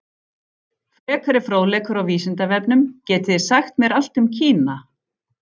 Frekari fróðleikur á Vísindavefnum: Getið þið sagt mér allt um Kína?